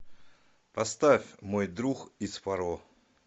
поставь мой друг из фаро